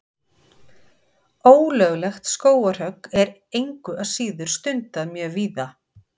Ólöglegt skógarhögg er engu að síður stundað mjög víða.